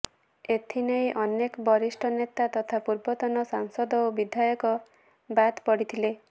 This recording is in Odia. ଏଥିନେଇ ଅନେକ ବରିଷ୍ଠ ନେତା ତଥା ପର୍ବତନ ସାଂସଦ ଓ ବିଧାୟକ ବାଦ ପଡିଥିଲେ